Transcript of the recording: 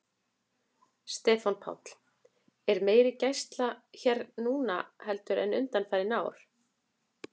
Stefán Páll: Er meiri gæsla hér núna heldur en undanfarin ár?